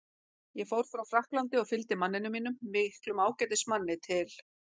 Ég fór frá Frakklandi og fylgdi manninum mínum, miklum ágætismanni, til